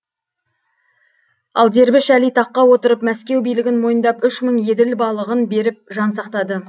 ал дербіш әли таққа отырып мәскеу билігін мойындап үш мың еділ балығын беріп жан сақтады